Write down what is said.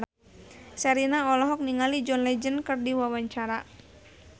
Sherina olohok ningali John Legend keur diwawancara